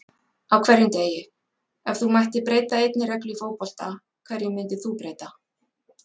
Á hverjum degi Ef þú mættir breyta einni reglu í fótbolta, hverju myndir þú breyta?